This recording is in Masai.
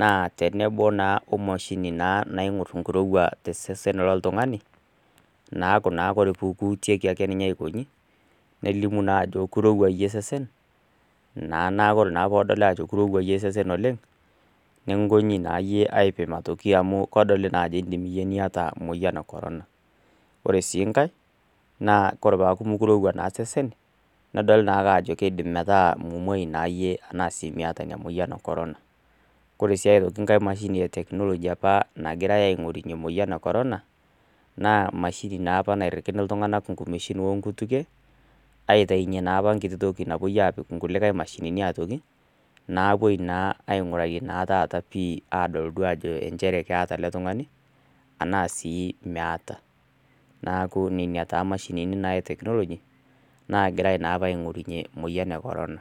naa taa tenebo naa we emashini naing'ur enkirouwaj tosesen loltung'ani, neaku naa ore ake pee kiutieki ake aikonji, nelimu naa ajo kirouwa iye naa osesen, naa naa ore pe kidoli aajo kekirouwa iyie osesen naa oleng', neikuni aitoki aipima naa iyie amu edoli ajo ebaiki niata iyie emoyian e korona. Ore sii enkai, naa ore sii peaku kirouwa osesen, nebaiki naake nedoli aajo ebaiki naa metaa mimwoi naa iyie anaa iata ina moyian e korona. Ore sii aitoki enkaia mashini e teknoloji nagirai opa aing'orunye emoyian e Korona, naa emashini naa opa naa nairikini iltung'ana inkumeshin o inkutukie aitayunye naapa toki napuoi aapiki inkulie mashinini aitoki, naapuoi naa abaiki naa taata ajo chere keata ele tungani, anaa sii meata. Neaku nena naa imshini apa e teknooloji naagirai naa opa aing'urarie emoyian e korona.